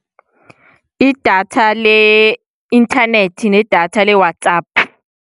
Idatha le-inthanethi, nedatha le-WhatsApp.